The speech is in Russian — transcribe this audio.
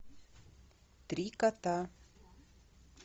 три кота